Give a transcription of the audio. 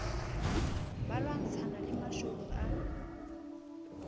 ba lwantshana le mashodu a